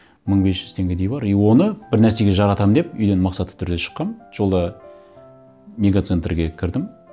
мың бес жүз теңгедей бар и оны бір нәрсеге жаратамын деп үйден мақсатты түрде шыққанмын жолда мега центрге кірдім